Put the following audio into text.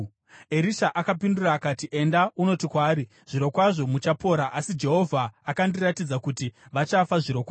Erisha akapindura akati, “Enda unoti kwaari, Zvirokwazvo muchapora, asi Jehovha akandiratidza kuti vachafa zvirokwazvo.”